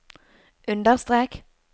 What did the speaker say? understrek